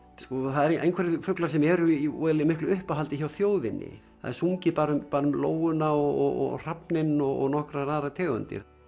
það eru einhverjir fuglar sem eru í miklu uppáhaldi hjá þjóðinni það er sungið bara um bara um lóuna og hrafninn og nokkrar aðrar tegundir